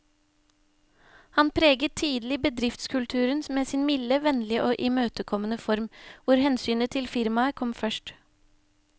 Han preget tidlig bedriftskulturen med sin milde, vennlige og imøtekommende form, hvor hensynet til firmaet kom først.